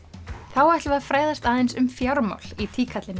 þá ætlum við að fræðast aðeins um fjármál í